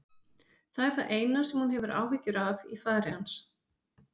Það er það eina sem hún hefur áhyggjur af í fari hans.